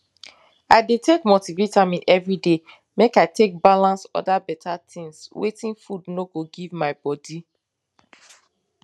i dey take multivitamin every day make i take balance oda beta things wetin food no give my bodi